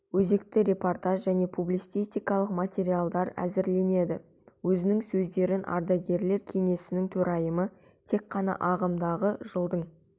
өзекті репортаждар және публицистикалық материалдар әзірленеді өзінің сөзінде ардагерлер кеңесінің төрайымы тек қана ағымдағы жылдың